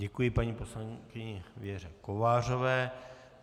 Děkuji paní poslankyni Věře Kovářové.